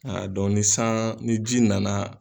A dɔn ni san, ni ji nana.